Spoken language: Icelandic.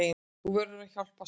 Þið verðið að hjálpast að.